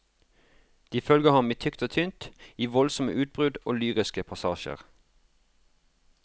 De følger ham i tykt og tynt, i voldsomme utbrudd og lyriske passasjer.